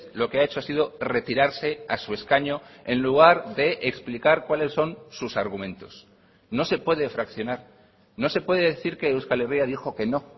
lo que ha hecho ha sido retirarse a su escaño en lugar de explicar cuáles son sus argumentos no se puede fraccionar no se puede decir que euskal herria dijo que no